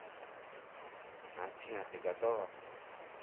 афина ты готова